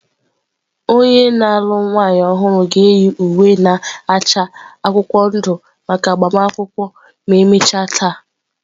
Onye na-alụ nwanyị ọhụrụ ga-eyi uwe na-acha akwụkwọ ndụ maka agbamakwụkwọ ma emechaa taa.